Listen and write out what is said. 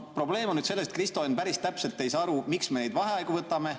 Probleem on selles, et Kristo Enn päris täpselt ei saa aru, miks me neid vaheaegu võtame.